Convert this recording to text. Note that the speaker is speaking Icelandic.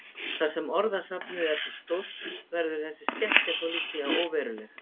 Þar sem orðasafnið er svo stórt verður þessi skekkja þó líklega óveruleg.